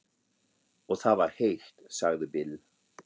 Og það var heitt, sagði Bill.